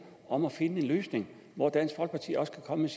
om at finde en løsning hvor dansk folkeparti også kan komme